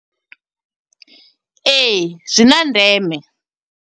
Ee, zwi na ndeme.